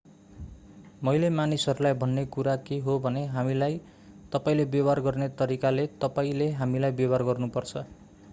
मैले मानिसहरूलाई भन्ने कुरा के हो भने हामीलाई तपाईंले व्यवहार गर्ने तरिकाले तपाईंले हामीलाई व्यवहार गर्नुपर्छ